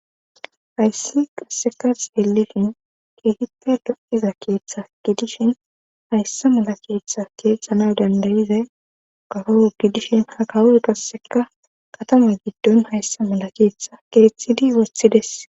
Hayssi qasseka xeelishn keehippe lo7iza keeththa gi dishin hayssa mala keeththa keeththana dandayiza gaho gidishin ha kawoy qasseka qatama giddon hayssa malakeeththa keeththidi woththides